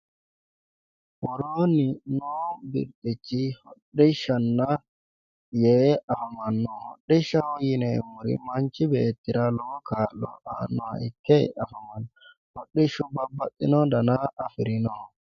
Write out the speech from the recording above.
Worooni noo birxichi hodhishshanna yee afamano ,hodhishshaho yineemmori manchi beettira lowo kaa'lo aanoha ikke afamano hodhishshu babbaxino danna afirinoho.